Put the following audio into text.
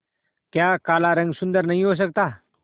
क्या काला रंग सुंदर नहीं हो सकता